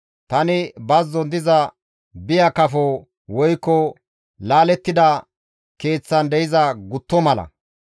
Tani bazzon diza biya kafo woykko laalettida keeththan de7iza gutto mala.